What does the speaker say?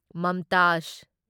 ꯃꯝꯇꯥꯓ